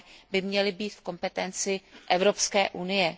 by měly být v kompetenci Evropské unie.